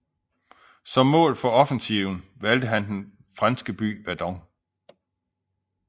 Som mål for offensiven valgte han den franske by Verdun